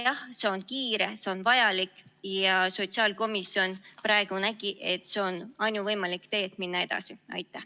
Jah, see on kiire, see on vajalik ja sotsiaalkomisjon nägi, et see on ainuvõimalik tee, et edasi minna.